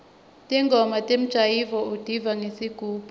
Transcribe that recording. ntingoma temjayivo utiva ngesigubhu